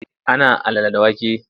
Ana alala da wake.